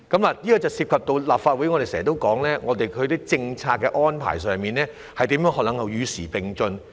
這點涉及我們在立法會內經常說的問題：政策安排如何能與時並進？